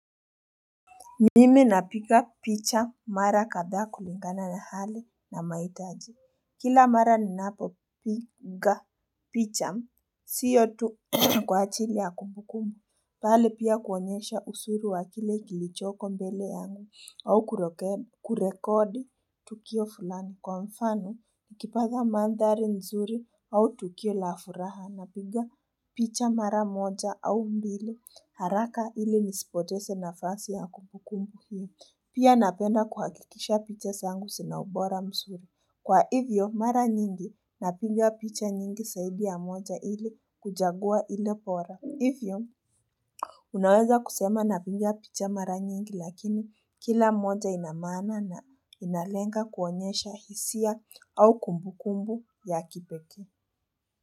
Nimi napiga picha mara kadhaa kulingana na hali na maitaji kila mara ninapo piga picha siyo tu kwa ajili ya kumbukumu bali pia kuonyesha uzuru wa kile kilichoko mbele yangu au kurekodi tukio fulano kwa mfano nikipaza mandari nzuri au tukio la furaha na pinga picha mara moja au mbili haraka ili nisipotese na fasi ya kumbukumbu hii. Pia napenda kuhakikisha picha zangu sina ubora mzuri. Kwa hivyo, mara nyingi napinga picha nyingi zaidi ya moja ili kujagua ili bora. Hivyo, unaweza kusema na piga picha mara nyingi lakini kila moja inamaana na inalenga kuonyesha hisia au kumbukumbu ya kipekee.